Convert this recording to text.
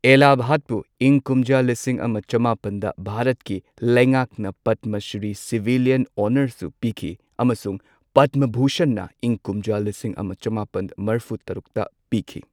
ꯑꯦꯂꯥ ꯚꯠꯄꯨ ꯏꯪ ꯀꯨꯝꯖꯥ ꯂꯤꯁꯤꯡ ꯑꯃ ꯆꯃꯥꯄꯟꯗ ꯚꯥꯔꯠꯀꯤ ꯂꯩꯉꯥꯛꯅ ꯄꯗꯃ ꯁ꯭ꯔꯤ ꯁꯤꯚꯤꯂꯤꯌꯟ ꯑꯣꯅꯔꯁꯨ ꯄꯤꯈꯤ ꯑꯃꯁꯨꯡ ꯄꯗꯃ ꯚꯨꯁꯟꯅ ꯏꯪ ꯀꯨꯝꯖꯥ ꯂꯤꯁꯤꯡ ꯑꯃ ꯆꯃꯥꯄꯟ ꯃ꯭ꯔꯐꯨ ꯇꯔꯨꯛꯇ ꯄꯤꯈꯤ꯫